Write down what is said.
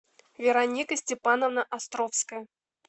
вероника степановна островская